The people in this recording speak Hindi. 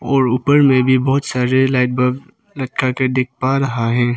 और ऊपर में भी बहोत सारे लाइट बल्ब लटका के देख पा रहा है।